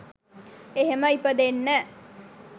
එහෙම ඉපදෙන්න